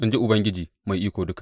in ji Ubangiji Mai Iko Duka.